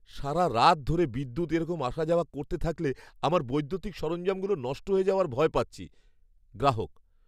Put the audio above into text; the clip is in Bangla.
সারারাত ধরে বিদ্যুৎ এরকম আসা যাওয়া করতে থাকলে আমার বৈদ্যুতিক সরঞ্জামগুলো নষ্ট হয়ে যাওয়ার ভয় পাচ্ছি। গ্রাহক